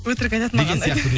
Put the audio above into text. өтірік айтады маған ұнайды